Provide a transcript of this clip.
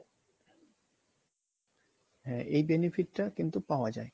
হ্যা এই benefit টা কিন্তু পাওয়া যায়